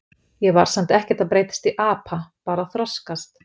Ég var samt ekkert að breytast í apa, bara að þroskast.